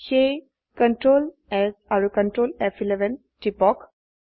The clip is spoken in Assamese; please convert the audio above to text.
সেয়ে Ctrl S আৰু Ctrl ফ11 টিপক